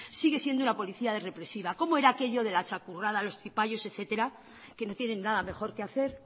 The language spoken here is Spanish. sigue siendo una policía represiva cómo era aquello de la txakurrada los cipallos etcétera que no tienen nada mejor que hacer